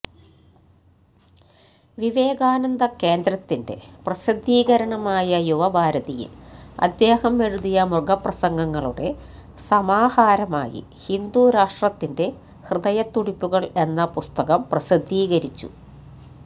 വിവേകാനന്ദ കേന്ദ്രത്തിന്റെ പ്രസിദ്ധീകരണമായ യുവഭാരതിൽ അദ്ദേഹം എഴുതിയ മുഖപ്രസംഗങ്ങളുടെ സമാഹാരമായി ഹിന്ദുരാഷ്ട്രത്തിന്റെ ഹൃദയത്തുടിപ്പുകൾ എന്ന പുസ്തകം പ്രസിദ്ധീകരിച്ചു